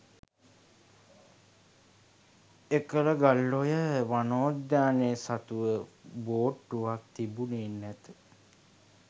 එකල ගල්ඔය වනෝද්‍යානය සතුව බෝට්ටුවක් තිබුණේ නැත